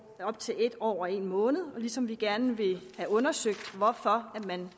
op til en år og en måned ligesom vi gerne vil have undersøgt hvorfor man